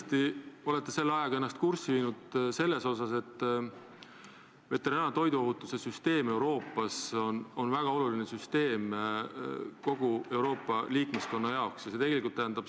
Te olete kindlasti viinud ennast kurssi sellega, et Euroopa veterinaar- ja toiduohutussüsteem on väga oluline süsteem kogu Euroopa jaoks.